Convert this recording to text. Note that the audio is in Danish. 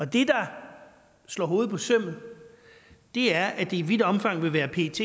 det der slår hovedet på sømmet er at det i vidt omfang vil være pets